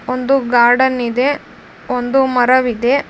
ಒಂದು ಗಾರ್ಡನ್ ಇದೆ ಒಂದು ಮರವಿದೆ.